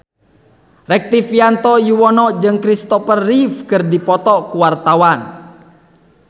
Rektivianto Yoewono jeung Christopher Reeve keur dipoto ku wartawan